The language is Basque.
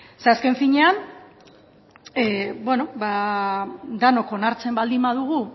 ze azken finean denok onartzen baldin badugu